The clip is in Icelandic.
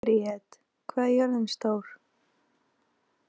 Briet, hvað er jörðin stór?